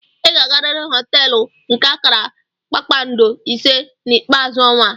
Ị ga-agarịrị họteelu nke akara kpakpando ise na ikpeazu ọnwa a.